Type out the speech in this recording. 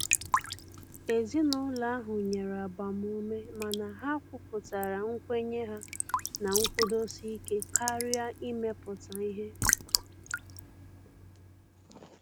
Ezinụlọ ahụ nyere agbamume mana ha kwuputara nkwenye ha na nkwụdosike karịa imepụta ihe.